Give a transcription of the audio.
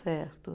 Certo.